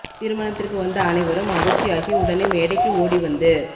திருமணத்திற்கு வந்த அனைவரும் அதிர்ச்சி ஆகி உடனே மேடைக்கு ஓடி வந்து